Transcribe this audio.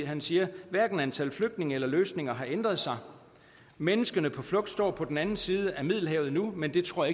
han siger hverken antal flygtninge eller løsninger har ændret sig menneskene på flugt står på den anden side af middelhavet nu men det tror